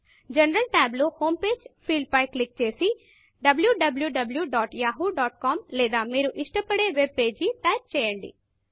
general tabజనరల్ tab లో home Pageహోం పేజి ఫీల్డ్ పై క్లిక్ చేసి wwwyahoocom లేదా మీరు ఇష్టపడే వెబ్ పేజి టైపు చేయండి